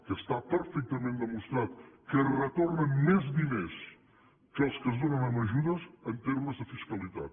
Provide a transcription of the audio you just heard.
que està perfectament demostrat que es retornen més diners que els que es donen en ajudes en termes de fiscalitat